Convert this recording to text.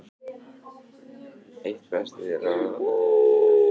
Eitt besta veiðisumarið frá upphafi